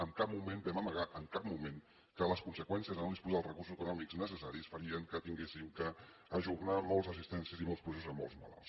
en cap moment vam amagar en cap moment que les conseqüències de no disposar dels recursos econòmics necessaris farien que haguéssim d’ajornar moltes assistències i molts processos a molts malalts